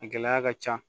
A gɛlɛya ka ca